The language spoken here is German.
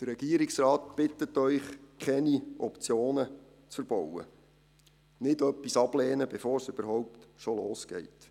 Der Regierungsrat bittet Sie, keine Optionen zu verbauen, nicht etwas ablehnen, bevor es überhaupt schon losgeht.